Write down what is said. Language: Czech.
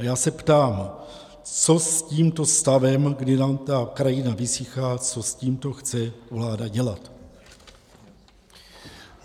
A já se ptám: Co s tímto stavem, kdy nám ta krajina vysychá, co s tímto chce vláda dělat?